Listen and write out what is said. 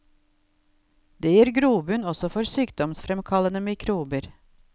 Det gir grobunn også for sykdomsfremkallende mikrober.